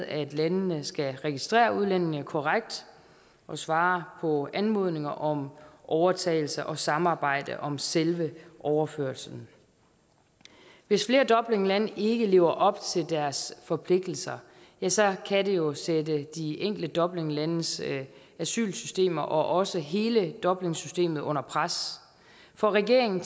at landene skal registrere udlændingene korrekt svare på anmodninger om overtagelse og samarbejde om selve overførslen hvis flere dublinlande ikke lever op til deres forpligtelser ja så kan det jo sætte de enkelte dublinlandes asylsystemer og også hele dublinsystemet under pres for regeringen